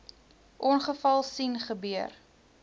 ongeval sien gebeur